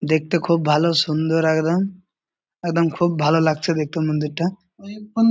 দেখতে খুব ভালো সুন্দর একদম। একদম খুব ভালো লাগছে দেখতে মন্দিরটা।